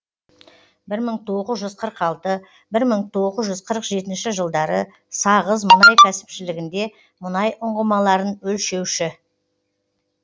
бір мың тоғыз жүз қырық алты бір мың тоғыз жүз қырық жетінші жылдары сағыз мұнай кәсіпшілігінде мұнай ұңғымаларын өлшеуші